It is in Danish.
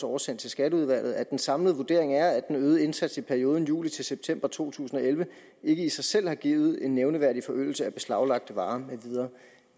oversendt til skatteudvalget at den samlede vurdering er at den øgede indsats i perioden juli september to tusind og elleve ikke i sig selv har givet en nævneværdig forøgelse af beslaglagte varer med videre